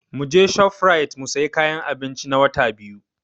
Muje Shofrait mu sayi kayan abinci na Wata Biyu?